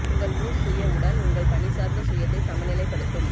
உங்கள் மூஸ் சுய உடன் உங்கள் பணி சார்ந்த சுயத்தை சமநிலைப்படுத்தும்